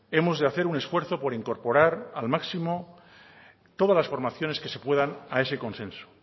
hemos de hacer un esfuerzo por incorporar al máximo todas las formaciones que se puedan a ese consenso